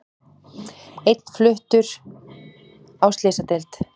Einn fluttur á slysadeild